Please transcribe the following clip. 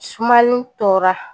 Sumani tora